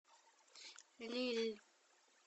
лилль